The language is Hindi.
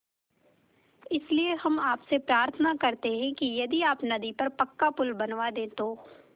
इसलिए हम आपसे प्रार्थना करते हैं कि यदि आप नदी पर पक्का पुल बनवा दे तो